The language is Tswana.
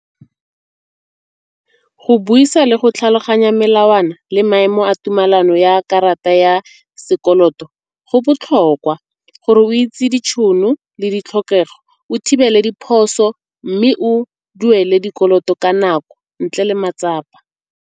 Go buisa le go tlhaloganya melawana le maemo a tumelano ya karata ya sekoloto go botlhokwa gore o itse ditšhono le ditlhokego. O thibele diphoso mme o duele dikoloto ka nako ntle le matsapa.